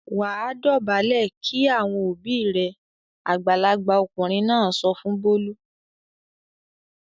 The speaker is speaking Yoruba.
"Wà á dọ̀bálẹ̀ kí àwọn òbí rẹ!" Àgbàlagbà ọkùnrin náà sọ fún Bólú.